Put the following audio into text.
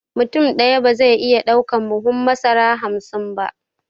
Mutum ɗaya ba zai iya ɗaukan buhun masara hamsin ba